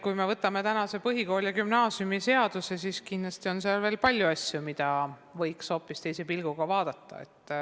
Kui me vaatame põhikooli- ja gümnaasiumiseadust, siis kindlasti näeme seal veel palju asju, mida võiks hoopis teise pilguga vaadata.